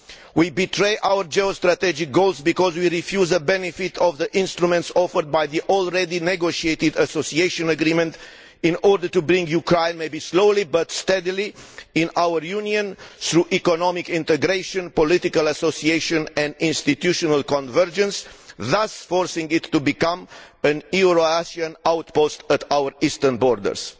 We betray our geostrategic goals because we refuse the benefit of the instruments offered by the already negotiated association agreement in order to bring Ukraine, slowly but steadily perhaps, into our Union through economic integration, political association and institutional convergence, thus forcing it to become a Eurasian outpost at our eastern borders.